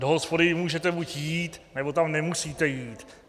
Do hospody můžete buď jít, nebo tam nemusíte jít.